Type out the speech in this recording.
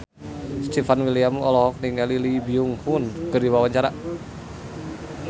Stefan William olohok ningali Lee Byung Hun keur diwawancara